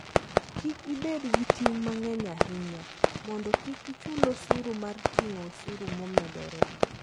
Kik ibed gi ting' mang'eny ahinya, mondo kik ichul osuru mar ting'o osuru momedore.